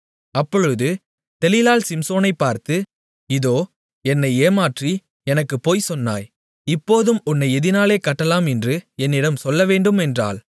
அப்பொழுது தெலீலாள் சிம்சோனைப் பார்த்து இதோ என்னை ஏமாற்றி எனக்கு பொய் சொன்னாய் இப்போதும் உன்னை எதினாலே கட்டலாம் என்று என்னிடம் சொல்லவேண்டும் என்றாள்